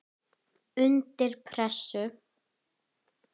Undir pressu.